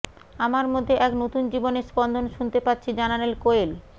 আমার মধ্যে এক নতুন জীবনের স্পন্দন শুনতে পাচ্ছি জানালেন কোয়েল